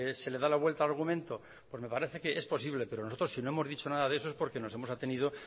se le da la vuelta al argumento pues me parece que es posible pero nosotros si no hemos dicho nada de eso es porque nos hemos atenido